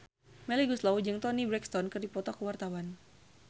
Melly Goeslaw jeung Toni Brexton keur dipoto ku wartawan